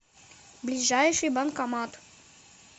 ближайший банкомат